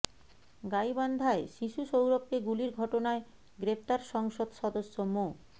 গাইবান্ধায় শিশু সৌরভকে গুলির ঘটনায় গ্রেপ্তার সংসদ সদস্য মো